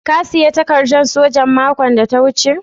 Ka siya takaddan sojan makon da ta wuce?